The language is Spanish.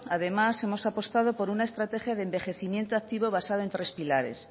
además hemos apostado por una estrategia de envejecimiento activo basado en tres pilares